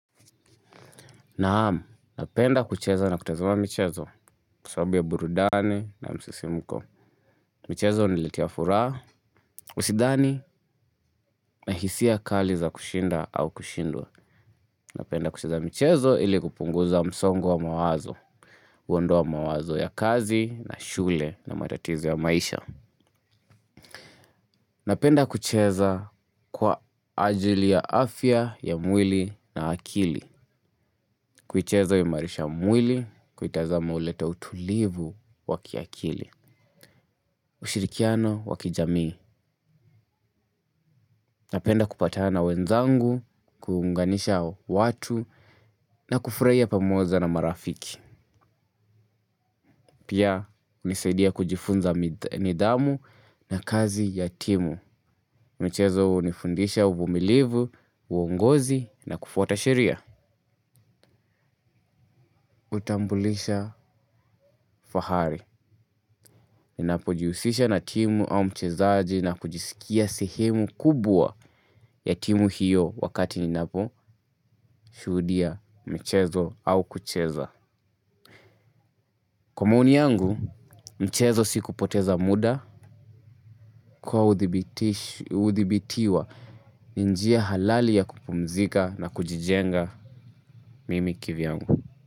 Naam, napenda kucheza na kutazama michezo, kwa sababu ya burudani na msisimko. Michezo huniletea furaha, usidhani na hisia ya kali za kushinda au kushindwa. Napenda kucheza michezo ili kupunguza msongo wa mawazo, huonda mawazo ya kazi na shule na matatizo ya maisha. Napenda kucheza kwa ajili ya afya ya mwili na akili. Kuicheza huimarisha mwili, kuitazama huleta utulivu wa kiakili, ushirikiano wakijamii. Napenda kupatana na wenzangu, kuunganisha watu na kufurahia pamoja na marafiki. Pia hunisaidia kujifunza nidhamu na kazi ya timu. Michezo hunifundisha uvumilivu, uongozi na kufuata sheria. Hutambulisha fahari. Ninapo jihusisha na timu au mchezaji na kujisikia sehemu kubwa ya timu hiyo wakati ninapo shuhudia mchezo au kucheza. Kwa maoni yangu, mchezo sii kupoteza muda kwa udhibitiwa ni njia halali ya kupumzika na kujijenga mimi kivyangu.